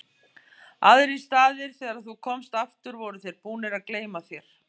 Aðrir staðir þegar þú komst aftur voru þeir búnir að gleyma þér.